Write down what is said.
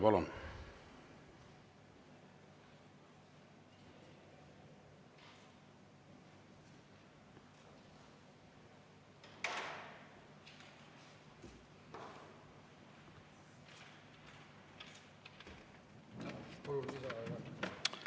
Palun!